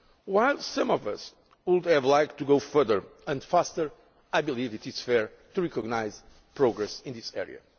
While some of us would have liked to go further and faster, I believe it is fair to recognise progress in this area.